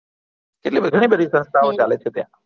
એટલે બધા ની બધી સંસથાઓ ચાલે છે ત્યાં